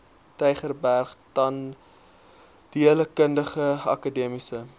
tygerberg tandheelkundige akademiese